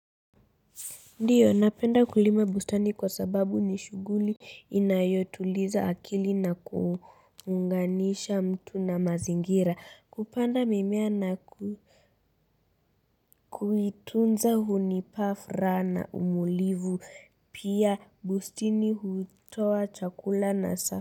Ndiyo napenda kulima bustani kwa sababu ni shuguli inayotuliza akili na kuunganisha mtu na mazingira kupanda mimea na kuitunza hunipafra na umulivu pia bustini hutowa chakula na safi.